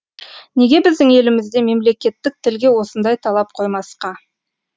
неге біздің елімізде мемлекеттік тілге осындай талап қоймасқа